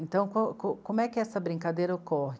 Então, como é que essa brincadeira ocorre?